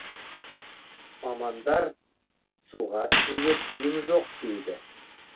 мамандар суға түсуге тыйым жоқ дейді